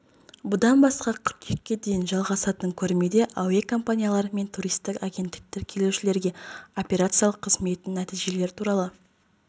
бұдан басқа қыркүйекке дейін жалғасатын көрмеде әуе компаниялар мен туристік агенттіктер келушілерге операциялық қызметінің нәтижелері туралы